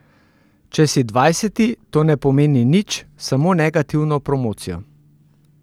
Če si dvajseti, to ne pomeni nič, samo negativno promocijo.